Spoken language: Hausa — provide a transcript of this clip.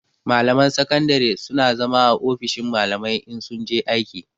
Malaman sakandare su na zama a ofishin malamai in sun je aiki